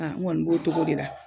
Aka n kɔni b'o togo de la.